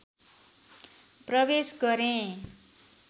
प्रवेश गरेँ